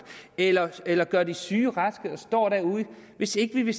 eller eller gør de syge raske og stå derude hvis ikke vi